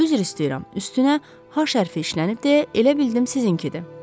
Üzr istəyirəm, üstünə H hərfi işlənib deyə elə bildim sizinkidir.